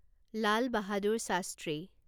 Lal Bahadur Shastri